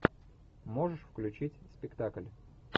можешь включить спектакль